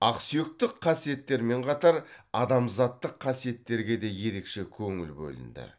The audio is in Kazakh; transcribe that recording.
ақсүйектік қасиеттермен қатар адамзаттық қасиеттерге де ерекше көңіл бөлінді